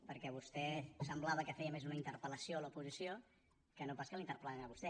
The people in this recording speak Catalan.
perquè vostè semblava que feia més una interpel·lació a l’oposició que no pas que la interpellessin a vostè